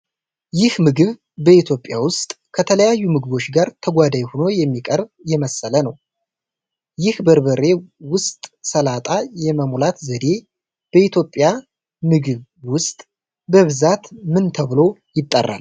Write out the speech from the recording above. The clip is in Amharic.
ይህ ምግብ በኢትዮጵያ ውስጥ ከተለያዩ ምግቦች ጋር ተጓዳኝ ሆኖ የሚቀርብ የመሰለ ነው::ይህ በርበሬ ውስጥ ሰላጣ የመሙላት ዘዴ በኢትዮጵያ ምግብ ውስጥ በብዛት ምን ተብሎ ይጠራል?